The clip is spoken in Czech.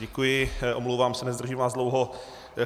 Děkuji, omlouvám se, nezdržím vás dlouho.